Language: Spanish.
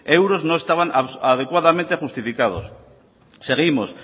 euros no estaban adecuadamente justificados seguimos